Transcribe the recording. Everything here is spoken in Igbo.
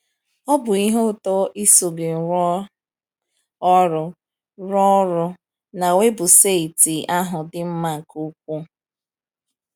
Ọ bụ ihe ụtọ iso gị rụọ ọrụ, rụọ ọrụ, na weebụsaịtị ahụ dị mma nke ukwuu.